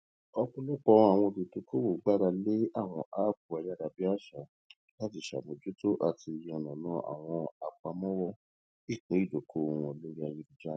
ọpọlọpọ àwọn olùdókòwò gbára lé àwọn áàpù ayárabíàṣá láti ṣàmójútó àti láti yànnàná àwọn àpamọwọ ìpín ìdókòwò wọn lórí ayélujára